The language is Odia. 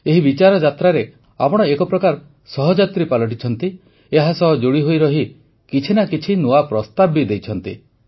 ଏହି ବିଚାରଯାତ୍ରାରେ ଆପଣ ଏକ ପ୍ରକାର ସହଯାତ୍ରୀ ପାଲଟିଛନ୍ତି ଏହାସହ ଯୋଡ଼ିହୋଇ ରହି କିଛି ନା କିଛି ନୂଆ ପ୍ରସ୍ତାବ ବି ଦେଇଛନ୍ତି